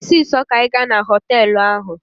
Mee ọsịsọ ka anyị gaa na họtelụ ahụ!